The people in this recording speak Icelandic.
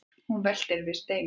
hún veltir við steinum